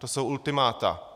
To jsou ultimáta.